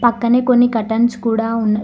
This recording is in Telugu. పక్కనే కొన్ని కర్టెన్స్ కూడ ఉన్న--